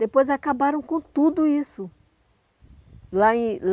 Depois acabaram com tudo isso lá em